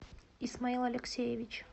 исмаил алексеевич